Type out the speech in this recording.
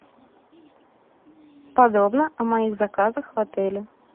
подробно о моих заказах в отеле